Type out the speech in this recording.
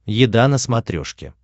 еда на смотрешке